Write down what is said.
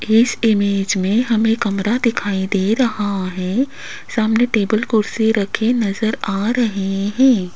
इस इमेज में हमें कमरा दिखाई दे रहा है सामने टेबल कुर्सी रखे नजर आ रहे है।